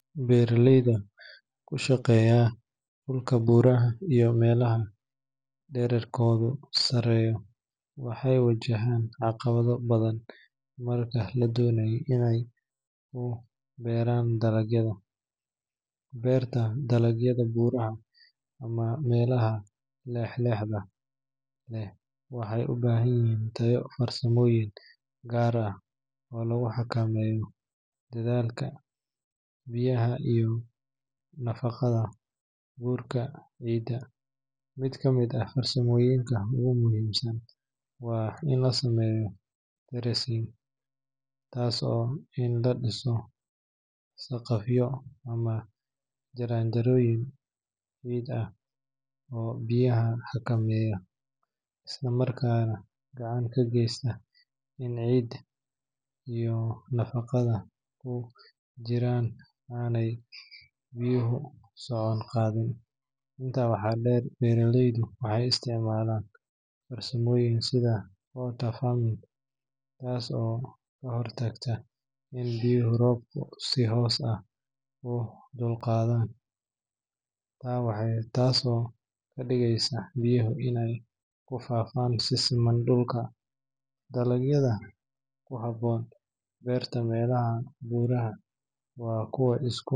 Beeralayda ku shaqeeya dhulka buuraha iyo meelaha dhererkoodu sareeyo waxay wajahaan caqabado badan marka ay doonayaan inay ku beeraan dalagyada. Beerta dalagyada buuraha ama meelaha leex-leexda leh waxay u baahan tahay farsamooyin gaar ah oo lagu xakameeyo daadadka biyaha iyo nabaad guurka ciidda. Mid ka mid ah farsamooyinka ugu muhiimsan waa in la sameeyo terracing, taasoo ah in la dhiso saqafyo ama jaranjarooyin ciid ah oo biyaha xakameeya, isla markaana gacan ka geysta in ciidda iyo nafaqada ku jirta aanay biyo socodku qaadin. Intaa waxaa dheer, beeralaydu waxay isticmaalaan farsamooyinka sida contour farming, taas oo ka hortagta in biyaha roobku si toos ah u qulqulaan, taa soo ka dhigaysa biyaha inay ku faafaan si siman dhulka. Dalagyada ku habboon beerta meelaha buuraha waa kuwa iska.